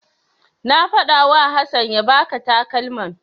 Na faɗawa Hassan ya baka takalman.